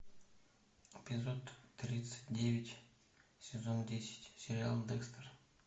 эпизод тридцать девять сезон десять сериал декстер